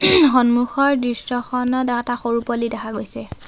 সন্মুখৰ দৃশ্যখনত এটা সৰু পোৱালী দেখা গৈছে।